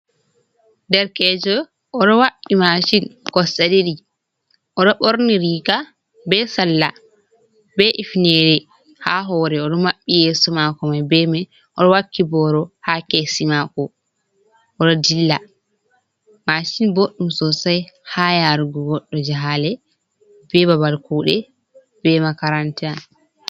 Derkejo oɗo wa'i masin kosɗe ɗiɗi, oɗo ɓorni riga be salla be hifnere ha hoore, oɗo mabɓi yeso mako mai, oɗo wakki boro ha kesi mako, oɗo dilla, masin bodɗum sosai ha yarugo goddo jahale be babal kuɗe be makaranta.